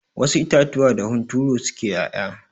Wasu itatuwa da hunturu suke 'ya'ya.